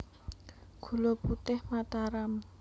Gula Putih Mataram